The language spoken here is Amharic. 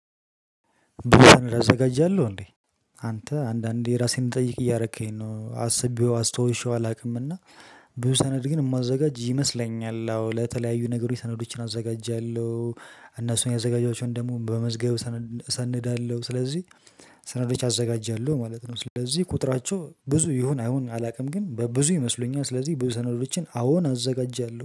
አዘጋጃለው እንዴ አንተ አንዳንዴ እራሴን እንድጠይቅ እያረከኝ ነው አስቤው አስታዉሼው አላውቅም እና ብዙ ሰነድ ግን የማዘጋጅ ይመስለኛል። አዎ ለተለያዩ ነገሮች ሰነዶችን አዘጋጃለው። እነሱን ያዘጋጃቸውን ደግሞ በመዝገብ እሰንዳለሁ ስለዚህ። ሰነዶች አዘጋጃለሁ ማለት ነው። ስለዚህ ቁጥራቸው ብዙ ይሁን አይሁን አላውቅም ግን በብዙ ይመስሉኛል ስለዚህ ብዙ ሰነዶችን አዎን አዘጋጃለሁ